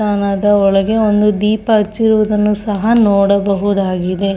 ನದ ಒಳಗೆ ಒಂದು ದೀಪ ಹಚ್ಚಿರುವುದನ್ನು ಸಹ ನೋಡಬಹುದಾಗಿದೆ.